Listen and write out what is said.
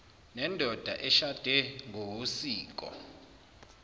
nendoda eshade ngosiko